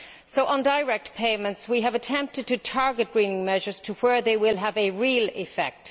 So, on direct payments we have attempted to target greening measures to where they will have a real effect.